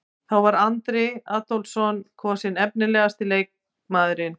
Þá var Andri Adolphsson kosinn efnilegasti leikmaðurinn.